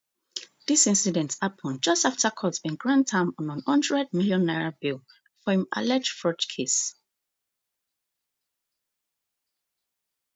dis incident happun just afta court bin grant am n one hundred million naira bail for im alleged fraud case